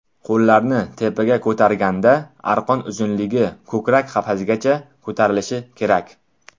Qo‘llarni tepaga ko‘targanda arqon uzunligi ko‘krak qafasigacha ko‘tarilishi kerak.